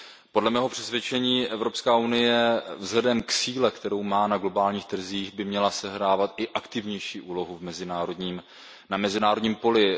Podle mého přesvědčení Evropská unie vzhledem k síle, kterou má na globálních trzích, by měla sehrávat aktivnější úlohu na mezinárodním poli.